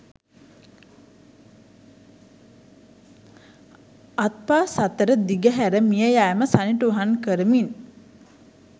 අත්පා සතර දිග හැර මිය යෑම සනිටුහන් කරමින්